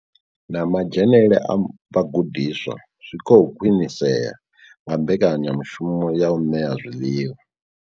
Na madzhenele a vhagudiswa zwi khou khwinisea nga mbekanya mushumo ya u ṋea zwiḽiwa.